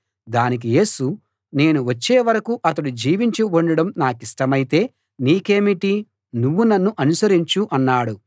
దానికి యేసు నేను వచ్చే వరకూ అతడు జీవించి ఉండడం నాకిష్టమైతే నీకేమిటి నువ్వు నన్ను అనుసరించు అన్నాడు